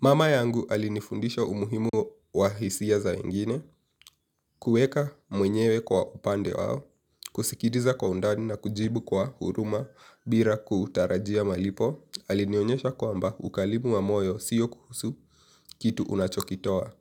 Mama yangu alinifundisha umuhimu wa hisia zawengine, kueka mwenyewe kwa upande wao, kusikiliza kwa undani na kujibu kwa huruma bira kutarajia malipo, alinionyesha kwamba ukalimu wa moyo siyo kuhusu kitu unachokitoa.